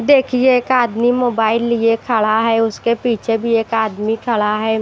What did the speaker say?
देखिए एक आदमी मोबाइल लिए खड़ा है उसके पीछे भी एक आदमी खड़ा है।